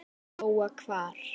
Lóa: Hvar?